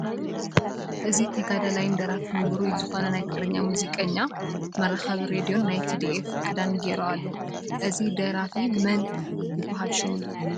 እዚ ተጋዳላይን ደራፋይን ዉሩይ ዝኮነ ናይ ትግርኛ ሙዚቅኛ መራከቢ ሬድዮን ናይ ትዲኤፍ ክዳንን ጌሩ ኣሎ ። እዚ ደራፊ መን ይበሃል ሽሙ ?